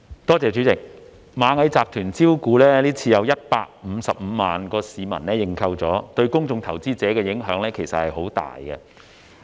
代理主席，今次螞蟻集團招股，有155萬名市民申請認購，對公眾投資者的影響其實很大。